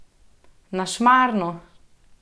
Na Šmarno!